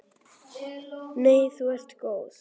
Nei þú ert góð.